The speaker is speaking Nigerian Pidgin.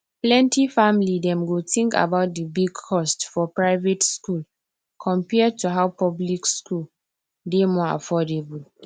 plenty family dem go think about di big cost for private school compared to how public school dey more affordable